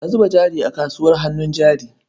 Ka zuba jari a kasuwar hannun jari.